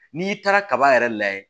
N'i taara kaba yɛrɛ layɛ